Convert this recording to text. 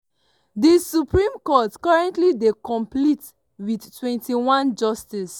di supreme court currently dey complete wit 21 justices.